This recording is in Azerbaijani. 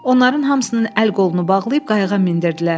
Onların hamısının əl-qolunu bağlayıb qayıqqa mindirdilər.